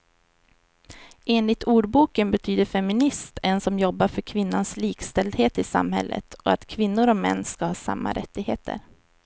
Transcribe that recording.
Enligt ordboken betyder feminist en som jobbar för kvinnans likställdhet i samhället och att kvinnor och män ska ha samma rättigheter.